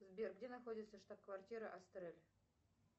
сбер где находится штаб квартира астрель